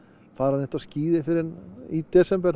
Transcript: fara á skíði fyrr en í desember